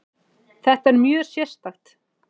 Þetta er mjög sérstakt